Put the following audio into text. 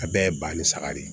A bɛɛ ye ba ni saga de ye